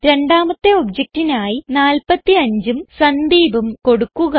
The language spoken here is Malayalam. രണ്ടാമത്തെ objectനായി 45ഉം Sandeepഉം കൊടുക്കുക